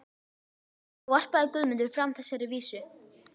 Þá varpaði Guðmundur fram þessari vísu